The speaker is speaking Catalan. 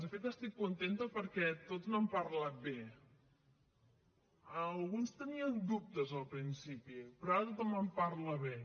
de fet estic contenta perquè tots n’han parlat bé alguns tenien dubtes al principi però ara tothom en parla bé